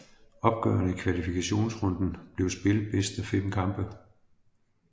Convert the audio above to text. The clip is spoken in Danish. Opgørene i kvalifikationsrunden blev spillet bedst af fem kampe